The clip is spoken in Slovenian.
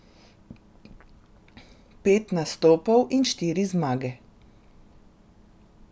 Pet nastopov in štiri zmage.